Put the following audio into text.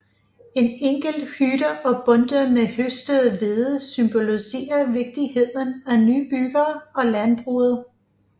En enkelt hytte og bundter med høstet hvede symboliserer vigtigheden af nybyggere og landbruget